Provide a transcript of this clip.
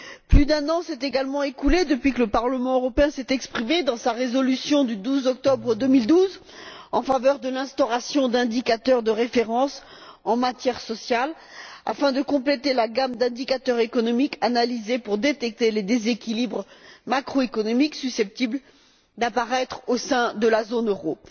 Plus d'un an s'est également écoulé depuis que le Parlement européen s'est exprimé, dans sa résolution du 12 octobre 2012, en faveur de l'instauration d'indicateurs de référence en matière sociale, afin de compléter la gamme d'indicateurs économiques analysés pour détecter les déséquilibres macroéconomiques susceptibles d'apparaître au sein de la zone euro.